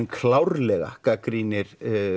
klárlega gagnrýnir